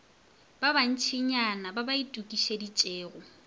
ba bantšinyana ba ba itokišeditšego